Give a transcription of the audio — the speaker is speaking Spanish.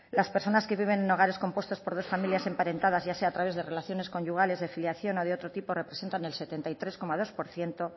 las personas que viven en hogares compuestos por dos familias emparentadas ya sea a través de relaciones conyugales de filiación o de otro tipo representan el setenta y tres coma dos por ciento